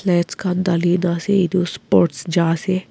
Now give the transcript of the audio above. match kan thali tase eto sports chai ase.